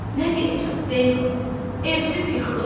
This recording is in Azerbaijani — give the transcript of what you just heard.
Nə deyəcəm, Zeynəb, evimiz yıkılıb.